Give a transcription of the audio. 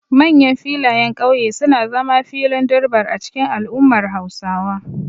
Manyan filayen kauye suna zama filin durbar a cikin al'ummar Hausawa.